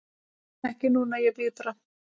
Ekki núna, ég bíð bara.